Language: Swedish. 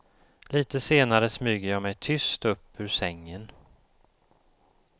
Lite senare smyger jag mig tyst upp ur sängen.